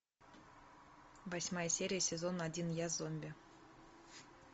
восьмая серия сезон один я зомби